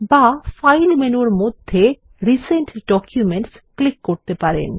বা ফাইল মেনুর মধ্যে রিসেন্ট ডকুমেন্টস ক্লিক করতে পারেন